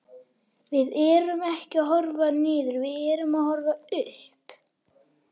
Við erum ekki að horfa niður, við erum að horfa upp.